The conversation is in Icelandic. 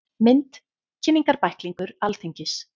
Mynd: Kynningarbæklingur Alþingis.